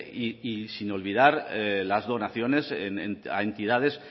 y sin olvidar las donaciones a entidades